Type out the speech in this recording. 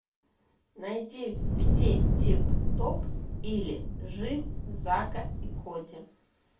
найди все тип топ или жизнь зака и коди